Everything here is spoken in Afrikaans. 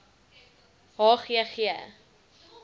h g g